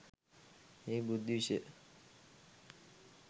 එය බුද්ධි විෂය